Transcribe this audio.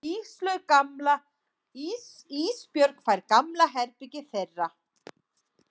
Ísbjörg fær gamla herbergið þeirra.